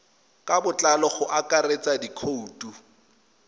ka botlalo go akaretsa dikhoutu